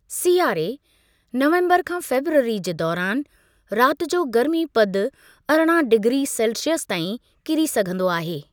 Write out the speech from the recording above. सियारे (नवंबरु खां फरवरी) जे दौरानि, राति जो गर्मीपदु अरिड़हं डिग्री सेल्सियस ताईं किरी सघंदो आहे।